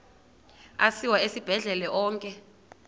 asiwa esibhedlele onke